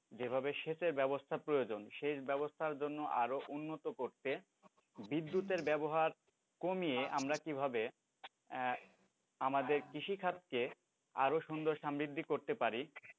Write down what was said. যেভাবে সেচের ব্যবস্থা প্রয়োজন সেচ ব্যবস্থার জন্য আরও উন্নত করতে বিদ্যুতের ব্যবহার কমিয়ে আমরা কিভাবে আমাদের কৃষিখাতকে আরও সুন্দর সমৃদ্ধি করতে পারি,